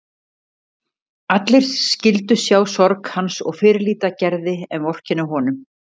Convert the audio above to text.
Allir skyldu sjá sorg hans og fyrirlíta Gerði en vorkenna honum.